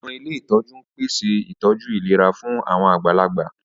Àwọn ilé ìtọ́jú ń pèsè ìtọ́jú ìlera fún àwọn àgbàlagbà